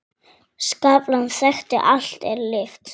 Skaflar þekja allt er lifir.